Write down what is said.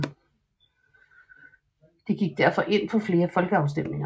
De gik derfor ind for flere folkeafstemninger